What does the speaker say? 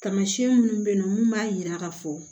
Tamasiyɛn minnu bɛ yen nɔ mun b'a jira k'a fɔ